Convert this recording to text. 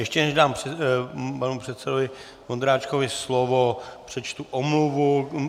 Ještě než dám panu předsedovi Vondráčkovi slovo, přečtu omluvu.